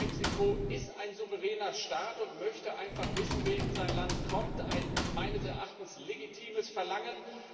Mexiko ist ein souveräner Staat und möchte einfach wissen, wer in sein Land kommt ein meines Erachtens legitimes Verlangen.